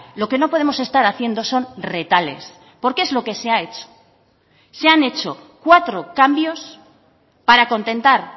lo que no podemos estar haciendo son retales porque es lo que se ha hecho se han hecho cuatro cambios para contentar